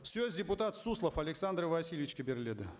сөз депутат суслов александр васильевичке беріледі